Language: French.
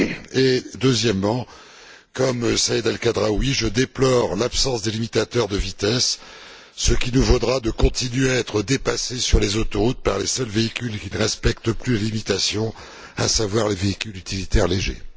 Et, deuxièmement, comme Saïd El Khadraoui, je déplore l'absence des limitateurs de vitesse, ce qui nous vaudra de continuer à être dépassés sur les autoroutes par les seuls véhicules qui ne respectent plus la limitation, à savoir les véhicules utilitaires légers.